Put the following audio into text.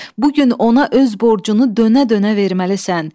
Bu gün ona öz borcunu dönə-dönə verməlisən.